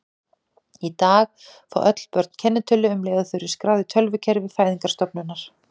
Í dag fá öll börn kennitölu um leið og þau eru skráð í tölvukerfi fæðingarstofnunar.